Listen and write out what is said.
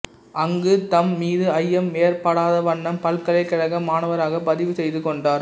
அங்கு தம் மீது ஐயம் ஏற்படாதவண்ணம் பல்கலைக் கழக மாணவராகப் பதிவு செய்து கொண்டார்